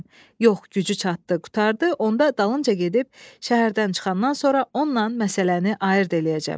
Yox, gücü çatdı, qurtardı, onda dalınca gedib şəhərdən çıxandan sonra onunla məsələni ayırt eləyəcəm.